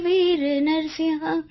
હે વીર નરસિંહ